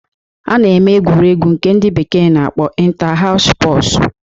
A na-eme egwuregwu nke ndị bekee na-akpọ Inta-haus spọsu